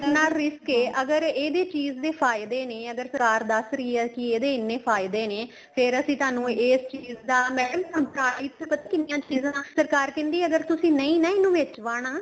light ਨਾਲ risk ਏ ਅਗਰ ਇਹਦੇ ਚੀਜ਼ ਦੇ ਫਾਇਦੇ ਨੇ ਅਗਰ ਸਰਕਾਰ ਦੱਸ ਰਹੀ ਹੈ ਕੀ ਇਹਦੇ ਐਨੇ ਫਾਇਦੇ ਨੇ ਫ਼ੇਰ ਅਸੀਂ ਤੁਹਾਨੂੰ ਇਸ ਚੀਜ਼ ਦਾ madam price ਕਿੰਨੀਆਂ ਚੀਜ਼ਾਂ ਦਾ ਸਰਕਾਰ ਕਹਿੰਦੀ ਅਗਰ ਤੁਸੀਂ ਨਹੀਂ ਨਾ ਇਹਨੂੰ ਵਿੱਚ ਵਾਣਾ